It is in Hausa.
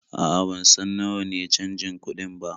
A'a, ban san nawa ne canjin kuɗin ba.